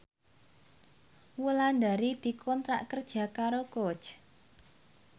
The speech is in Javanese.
Wulandari dikontrak kerja karo Coach